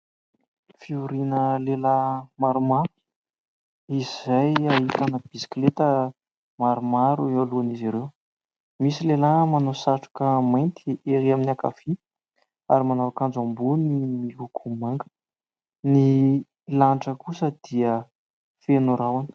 Fivoriana lehilahy maromaro izay ahitana bisikileta maromaro eo alohan'izy ireo. Misy lehilahy manao satroka mainty ery amin'ny ankavia ary manao akanjo ambony miloko manga. Ny lanitra kosa dia feno rahona.